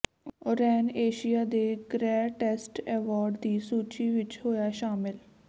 ਓਰੇਨ Asia ਦੇ greatest award ਦੀ ਸੂਚੀ ਵਿਚ ਹੋਇਆ ਸ਼ਾਮਿਲ